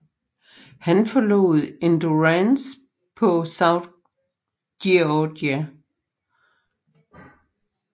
Han forlod Endurance på South Georgia